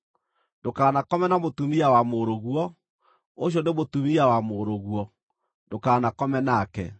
“ ‘Ndũkanakome na mũtumia wa mũrũguo. Ũcio nĩ mũtumia wa mũrũguo; ndũkanakome nake.